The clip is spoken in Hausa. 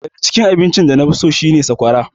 Daga cikin abinci da nafi so shi ne sakwara.